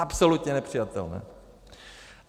Absolutně nepřijatelné!